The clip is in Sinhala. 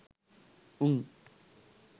උං